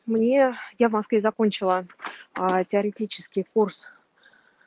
мне я в москве закончила а теоретический курс